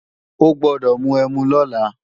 O gbọ́dọ̀ mu ẹmu lọ́la!